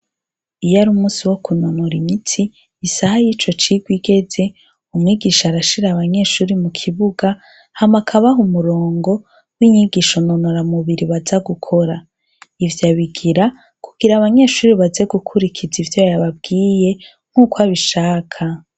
Iyo ari umunsi w'ukunonora imitsi, isaha y'ico cigwa igeze, umwigisha arashira abanyeshure mu kibuga, hanyuma akabaha umurongo n'inyigisho nonoramubiri baza gukora. Ivyo abigira kugira abanyeshure baze gukurikiza ivyo yabwiye nkuko abishaka.